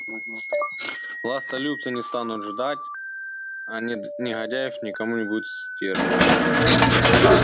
властолюбцы не станут ждать а негодяев некому будет сдерживать